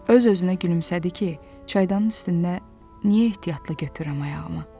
Öz-özünə gülümsədi ki, çaydanın üstünə niyə ehtiyatla götürürəm ayağımı?